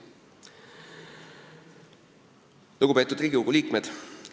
Lugupeetud Riigikogu liikmed!